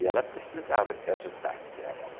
E ela precisava que ajudasse a ela.